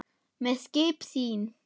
með skip sín